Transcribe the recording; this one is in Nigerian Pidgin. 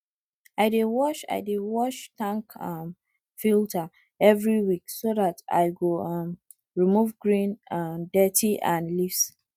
i dey wash i dey wash tank um filter every week so dat i go um remove green um dirt and leaves